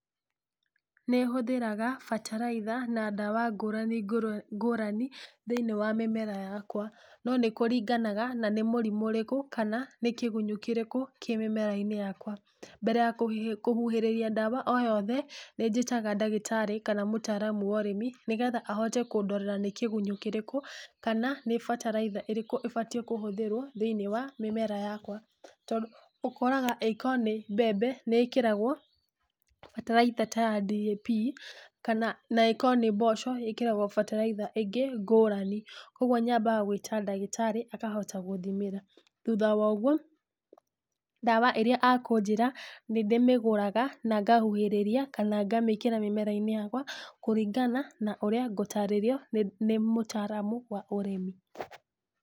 Nĩhũthĩraga bataraitha na ndawa ngũrani ngũrũ ngũrani thĩ-inĩ wa mĩmera yakwa, no nĩkũringanaga na nĩ mũrimũ ũrĩkũ kana nĩ kĩgunyũ kĩrĩkũ kĩ mĩmera-inĩ yakwa, mbere ya kũhi kũhuhĩrĩria dawa o yothe, nĩnjĩtaga dagĩtarĩ kana mũtaaramu wa ũrĩmi nĩgetha ahote kũndorera nĩ kĩgunyũ kĩrĩkũ kana nĩ bataraitha ĩrĩkũ batiĩ kũhũthĩrwo thĩ-inĩ wa mĩmera yakwa, tondũ ũkoraga ĩkorwo nĩ mbembe nĩĩkĩragwo bataraitha ta ya DAP, kana naĩkorwo nĩ mboco ĩkĩragwo bataraitha ĩngĩ ngũrani, koguo nyambaga gwĩta dagĩtarĩ akahota gũthimĩra, thutha wa ũguo dawa ĩrĩa akũnjĩra nĩndĩmĩgũraga na ngahuhĩrĩria kana ngamĩkĩra mĩmera-inĩ yakwa kũringana na ũrĩa ngũtarĩrio nĩ mũtaaramu wa ũrĩmi.